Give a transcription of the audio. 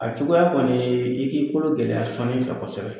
A cogoya kɔni ye i k'i kolo gɛlɛya sɔnnili fɛ kosɛbɛ